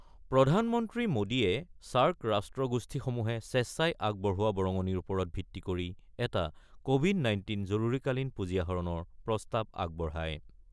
প্ৰধানমন্ত্ৰী মোদীয়ে ছাৰ্ক ৰাষ্ট্ৰগোষ্ঠীসমূহে স্বেচ্ছাই আগবঢ়োৱা বৰঙণিৰ ওপৰত ভিত্তি কৰি এটা কোৱিড-নাইণ্টিন জৰুৰীকালীন পুঁজি আহৰণৰ প্ৰস্তাৱ আগবঢ়ায়।